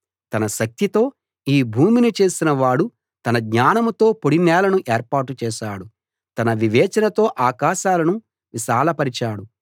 తన శక్తితో ఈ భూమిని చేసిన వాడు తన జ్ఞానంతో పొడి నేలను ఏర్పాటు చేశాడు తన వివేచనతో ఆకాశాలను విశాలపరిచాడు